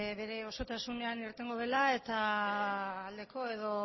bere osotasunean irtengo dela eta aldeko edo